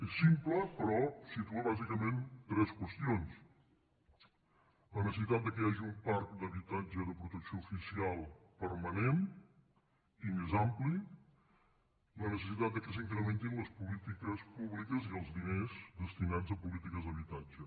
és simple però situa bàsicament tres qüestions la necessitat que hi hagi un parc d’habitatge de protecció oficial permanent i més ampli la necessitat que s’incrementin les polítiques públiques i els diners destinats a polítiques d’habitatge